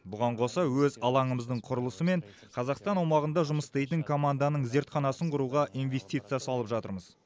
бұған қоса өз алаңымыздың құрылысы мен қазақстан аумағында жұмыс істейтін команданың зертханасын құруға инвестиция салып жатырмыз